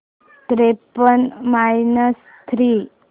त्रेपन्न minus three